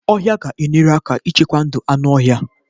ọhịa ga-enyere aka ichekwa ndụ anụ ọhịa.